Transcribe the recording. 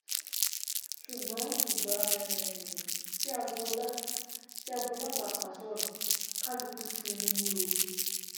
ṣùgbọ́n ìgbà um tí agboola tí agboola pàápàá sọ̀rọ̀ kálukú sinmi ni o